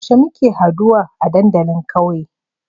Yaushe muke haduwa a dandalin ƙauye?